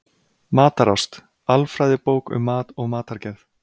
Matarást: alfræðibók um mat og matargerð.